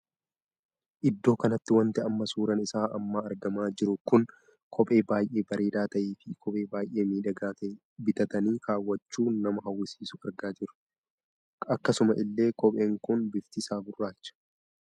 Iddoo kanatti wanti amma suuraan isaa amma argamaa jiru kun kophee baay'ee bareedaa tahee fi kophee baay'ee miidhagaa tahee bitatanii kaawwachuu nama hawwisiisuu argaa jirru. akkasuma illee kopheen kun bifti isaa gurraacha.